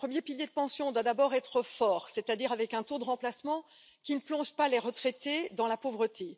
Le premier pilier de pension doit d'abord être fort, c'est à dire avec un taux de remplacement qui ne plonge pas les retraités dans la pauvreté.